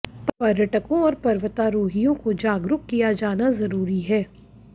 पर्यटकों और पर्वतारोहियों को जागरूक किया जाना जरूरी है